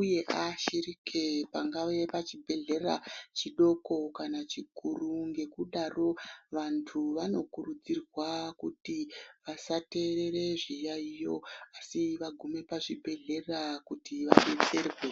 uye aashirike pangawe pachibhedhlera chidoko kana chikuru. Ngekudaro vantu vanokurudzirwa kuti vasaterere zviyaiyo asi vagume pazvibhedhlera kuti vadetserwe.